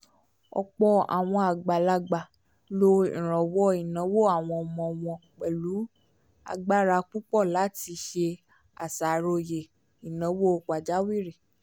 ọ̀pọ̀ àwọn àgbàlagbà lo ìrànwọ́ ináwó àwọn ọmọ wọn pẹ̀lú agbára púpọ̀ láti ṣe àṣàròyé ináwó pàjáwìrì